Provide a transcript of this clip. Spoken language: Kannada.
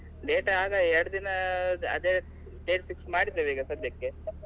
Date ಆಗ ಎರಡು ದಿನ ಅದೇ date fix ಮಾಡಿದ್ದೇವೆ ಈಗ ಸದ್ಯಕ್ಕೆ.